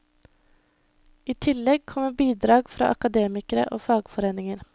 I tillegg kommer bidrag fra akademikere og fagforeninger.